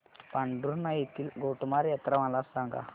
पांढुर्णा येथील गोटमार यात्रा मला सांग